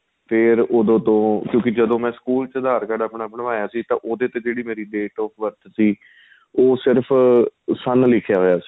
ਫ਼ੇਰ ਉਹਦੋ ਤੋ ਕਿਉਂਕਿ ਜਦੋਂ ਮੈਂ ਸਕੂਲ ਚ ਆਪਣਾਂ aadhar card ਬਣਵਾਇਆ ਸੀ ਤੇ ਉਹਦੇ ਤੇ ਜਿਹੜੀ ਮੇਰੀ date of birth ਸੀ ਉਹ ਸਿਰਫ਼ ਸੰਨ ਲਿੱਖਿਆ ਹੋਇਆ ਸੀ